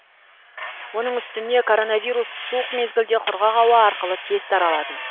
оның үстіне коронавирус суық мезгілде құрғақ ауа арқылы тез таралады